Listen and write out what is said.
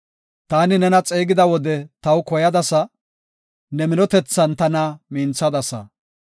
Taani xeegida wode ne taw koyadasa; ne minotethan tana minthadasa.